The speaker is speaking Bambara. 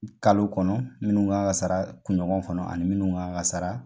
Kalo kɔnɔ minnu kan ka sara kunɲɔgɔn kɔnɔ ani minnu kan ka sara